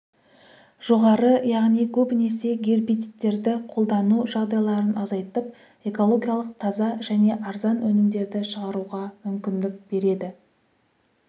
жоғары яғни көбінесе гербицидтерді қолдану жағдайларын азайтып экологиялық таза және арзан өнімдерді шығаруға мүмкіндік береді